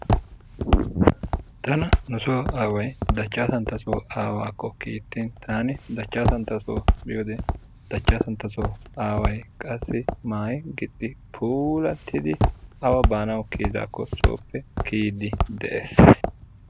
Tana nuso Aaway Dachasantaso Aawakko kittin tani Dachasantto biyode Dachasantto Aaway qassi maayi gixxi puulaatidi awa banawu kiyidako soppe kiyidi de'ees.